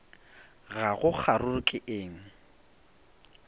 ga go kgaruru ke eng